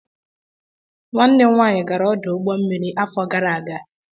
Nwanne m nwaanyị gara ọdụ ụgbọ mmiri afọ gara aga.